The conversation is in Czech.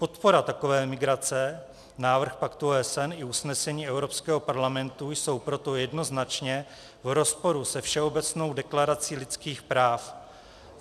Podpora takové migrace, návrh paktu OSN i usnesení Evropského parlamentu jsou proto jednoznačně v rozporu se Všeobecnou deklarací lidských práv.